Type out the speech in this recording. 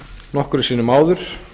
nokkrum sinnum áður